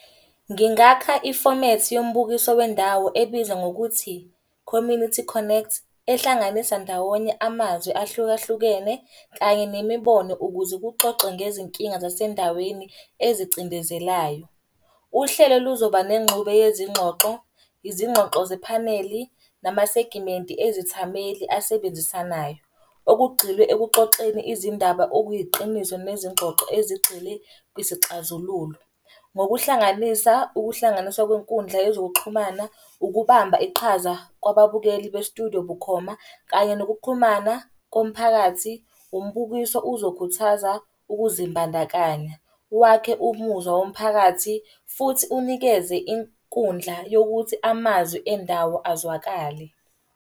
Ngingakha ifomethi yombukiso wendawo ebizwa ngokuthi, community connect, ehlanganisa ndawonye amazwi ahlukahlukene kanye nemibono, ukuze kuxoxwe ngezinkinga zasendaweni ezicindezelayo. Uhlelo luzoba nenxube yezingxoxo, izingxoxo zephaneli, namasegimenti ezithameli asebenzisanayo. Okugxilwe ekuxoxeni izindaba okuyiqiniso nezingxoxo ezigxile kwisixazululo. Ngokuhlanganisa ukuhlanganiswa kwenkundla yezokuxhumana, ukubamba iqhaza kwababukeli bestudiyo bukhoma, kanye nokuxhumana komphakathi. Umbukiso uzokhuthaza ukuzimbandakanya, wakhe umuzwa womphakathi, futhi unikeze inkundla yokuthi amazwi endawo azwakale.